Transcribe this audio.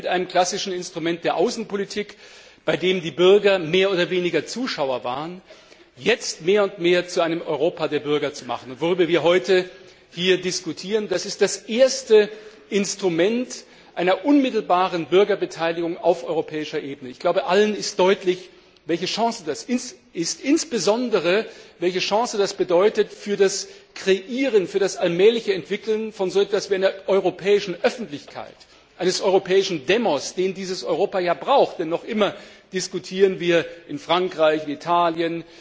eigentlich mit einem klassischen Instrument der Außenpolitik, bei dem die Bürger mehr oder weniger Zuschauer waren, jetzt mehr und mehr zu einem Europa der Bürger zu machen. Worüber wir heute hier diskutieren, das ist das erste Instrument einer unmittelbaren Bürgerbeteiligung auf europäischer Ebene. Ich glaube, allen ist deutlich, welche Chance das insbesondere bedeutet für das Kreieren, für das allmähliche Entwickeln von so etwas wie einer europäischen Öffentlichkeit, eines europäischen demos den dieses Europa ja braucht, denn noch immer diskutieren wir in Frankreich, in Italien,